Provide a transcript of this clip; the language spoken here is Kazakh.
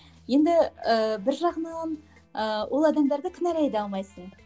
енді і бір жағынан ііі ол адамдарды кінәлай да алмайсың